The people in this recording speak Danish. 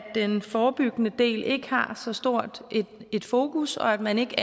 den forebyggende del ikke har så stort et fokus og at man ikke